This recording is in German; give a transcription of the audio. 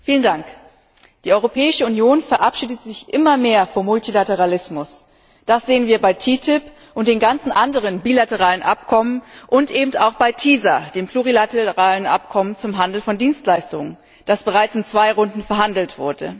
Frau Präsidentin! Die Europäische Union verabschiedet sich immer mehr vom Multilateralismus. Das sehen wir bei TTIP und den ganzen anderen bilateralen Abkommen, und eben auch bei TISA, dem plurilateralen Abkommen zum Handel von Dienstleistungen, das bereits in zwei Runden verhandelt wurde.